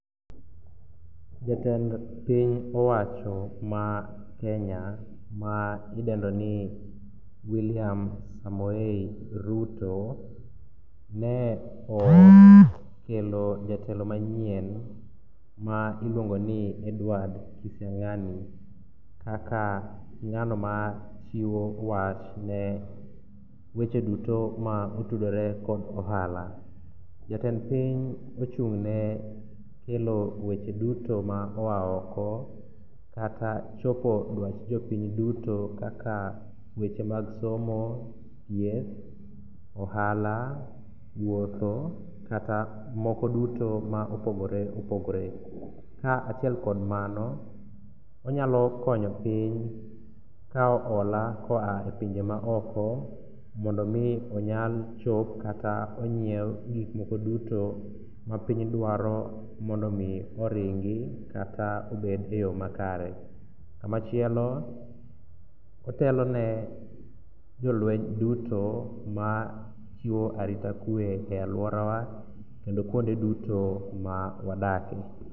Jatend piny owacho makenya ma idendoni William Samoei Ruto ne okelo jatelo manyien ma iluongoni Edward Kisiang'ani kaka ng'anomachiwo wach ne weche duto motudore kod ohala. Jatend piny ochung'ne kelo weche duto ma oa oko kata chopo dwach jopiny duto kaka weche mag somo, thieth, ohala, wuotho kata moko duto ma opogore opogore. Kaachiel kod mano onyalo konyo piny kao hola koa e pinje maoko mondo omi onyal chop kata onyiew gikmoko duto ma piny dwaro mondo omi oringi kata obed e yo makare. Kamachielo, otelone jolweny duto machiwo arita kwe e alworawa kendo kuonde duto ma wadake.